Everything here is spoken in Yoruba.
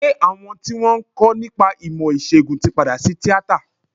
Ṣé àwọn tí wọ́n ń kọ́ nípa ìmọ̀ ìsègùn tí padà sí tíátà?